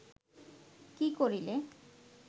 কি করিলে